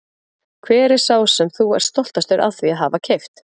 Hver er sá sem þú ert stoltastur af því að hafa keypt?